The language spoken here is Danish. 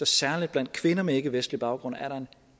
særlig blandt kvinder med ikkevestlig baggrund